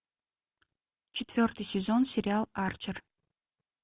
четвертый сезон сериал арчер